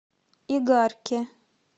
игарке